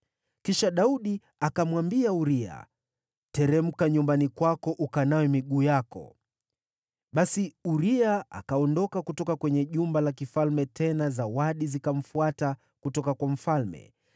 Kisha Daudi akamwambia Uria, “Teremka nyumbani kwako ukanawe miguu yako.” Basi Uria akaondoka kutoka kwenye jumba la kifalme, tena zawadi zikamfuata kutoka kwa mfalme.